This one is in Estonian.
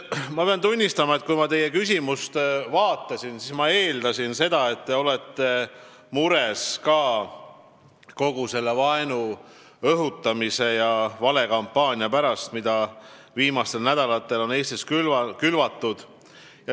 Ma pean tunnistama, et kui ma teie küsimust vaatasin, siis ma eeldasin, et te olete mures ka kogu selle vaenu õhutamise ja valekampaania pärast, mida Eestis on viimastel nädalatel külvatud.